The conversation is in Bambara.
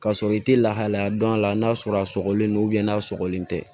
K'a sɔrɔ i te lahalaya dɔn a la n'a sɔrɔ a sɔgɔrɛn don n'a sɔgɔlen tɛ